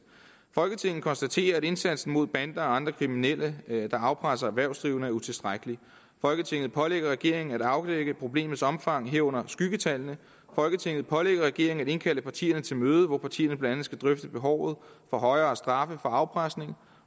folketinget konstaterer at indsatsen mod bander og andre kriminelle der afpresser erhvervsdrivende er utilstrækkelig folketinget pålægger regeringen at afdække problemets omfang herunder skyggetallene folketinget pålægger regeringen at indkalde partierne til møde hvor partierne blandt andet skal drøfte behovet for højere straffe for afpresning